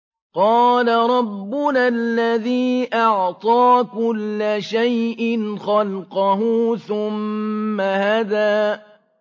قَالَ رَبُّنَا الَّذِي أَعْطَىٰ كُلَّ شَيْءٍ خَلْقَهُ ثُمَّ هَدَىٰ